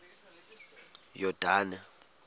yordane